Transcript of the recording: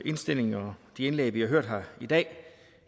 indstilling og for de indlæg vi har hørt her i dag